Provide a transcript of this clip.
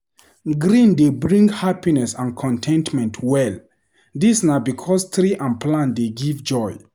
Green dey bring happiness and con ten tment well. Dis na because tree and plant dey give joy.